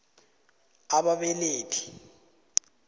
a b ababelethi